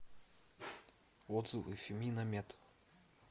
отзывы феминамед